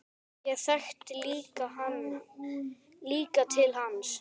Ég þekkti lítið til hans.